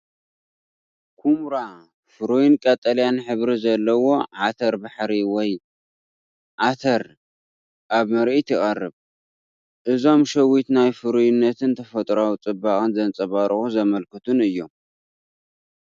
ኵምራ ፍሩይን ቀጠልያን ሕብሪ ዘለዎ ዓተባሕሪ ወይ ኣተር ኣብ ምርኢት ይቐርብ። እዞም ሸዊት ናይ ፍሩይነትን ተፈጥሮኣዊ ጽባቐን ዘንጸባርቑን ዘመልክቱን እዮም።